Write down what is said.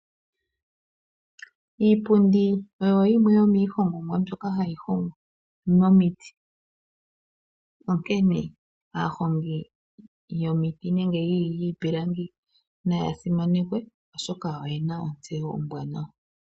Iipundi oyo yimwe yomiihongomwa mbyoka hayi hongwa momiti, onkene aahongi yomiti nenge yiipilangi naya simanekwe, oshoka oyena ontseyo ombwanawa.